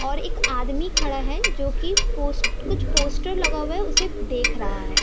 और एक आदमी खड़ा है जो की पोस कुछ पोस्टर लगा हुआ है उसे देख रहा है |